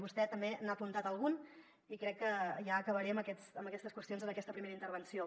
vostè també n’ha apuntat algun i crec que ja acabaré amb aquestes qüestions aquesta primera intervenció